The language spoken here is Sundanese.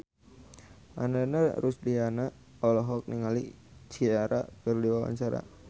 Ananda Rusdiana olohok ningali Ciara keur diwawancara